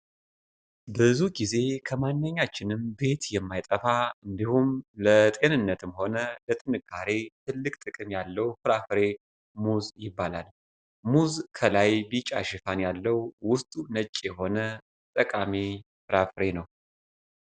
ብዙ ጊዜ ከማንኛችንም ቤት የማይጠፋ፣ እንዲሁም ለጤንነትም ሆነ ለጥንካሬ ትልቅ ጥቅም ያለው ፍራፍሬ ሙዝ ይባላል። ሙዝ ከላይ ቢጫ ሽፋን ያለው ውስጡ ነጭ የሆነ ጠቃሚ ፍራፍሬ ነው።